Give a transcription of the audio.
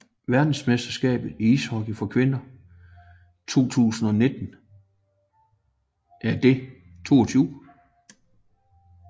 Verdensmesterskabet i ishockey for kvinder 2019 er det 22